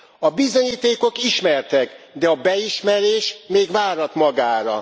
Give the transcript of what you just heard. A bizonyítékok ismertek, de a beismerés még várat magára.